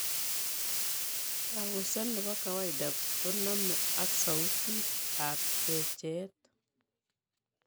Kabuseet nebo kawaiada konome ak sautit ab checheet